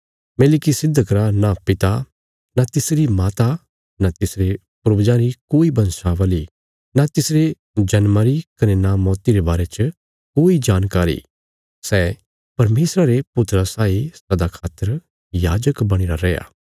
मेलिकिसिदक रा नां पिता नां तिसरी माता नां तिसरे पूर्वजां री कोई वंशावली नां तिसरे जन्मा री कने नां मौती रे बारे च कोई जानकारी सै परमेशरा रे पुत्रा साई सदा खातर याजक बणीरा रैया